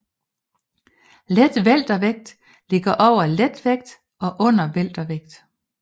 Letweltervægt ligger over letvægt og under weltervægt